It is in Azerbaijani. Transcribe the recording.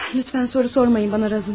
Lütfən soru sormayın bana Razumin.